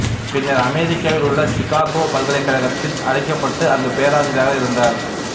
பின்னர் அமெரிக்காவில் உள்ள சிக்காகோ பல்கலைக்கழகத்தால் அழைக்கப்பட்டு அங்குப் பேராசிரியராக இருந்தார்